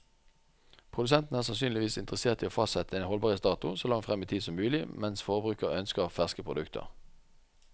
Produsenten er sannsynligvis interessert i å fastsette en holdbarhetsdato så langt frem i tid som mulig, mens forbruker ønsker ferske produkter.